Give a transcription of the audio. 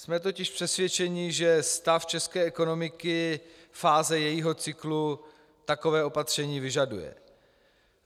Jsme totiž přesvědčeni, že stav české ekonomiky, fáze jejího cyklu, taková opatření vyžaduje.